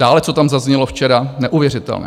Dále, co tam zaznělo včera, neuvěřitelné.